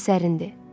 Şah əsərindir.